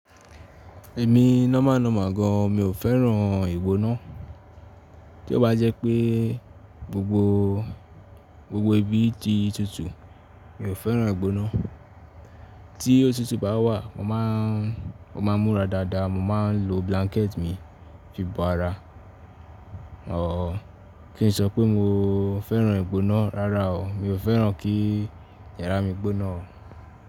Èmi normal normal gan, mi ò fẹ́ràn ìgbóná. Tí ó bá jẹ́ pé gbogbo, gbogbo ibi ti tutù, mi ò fẹ́ràn ìgbóná. Tí òtútù bá wà, mo máà ń, mo máà ń múra dáadáa, mo máà ń lo blanket mi fi bo ara. Or kí n sọ pé mo fẹ́ràn ìgbóná, rárá o, mi ò fẹ́ràn kí yàrá mi gbóná o.